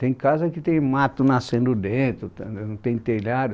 Tem casa que tem mato nascendo dentro, tem telhado.